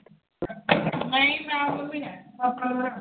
ਨਹੀਂ ਮੈਂ ਐ। ਪਾਪਾ ਨੂੰ ਬਣਾਉਣੀ